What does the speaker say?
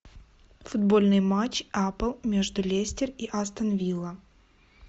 футбольный матч апл между лестер и астон вилла